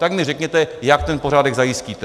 Tak mi řekněte, jak ten pořádek zajistíte!